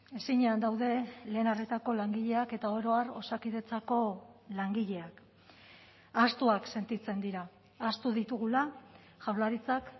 ezinean daude lehen arretako langileak eta oro har osakidetzako langileak ahaztuak sentitzen dira ahaztu ditugula jaurlaritzak